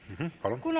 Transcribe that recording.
Mh-mh, palun!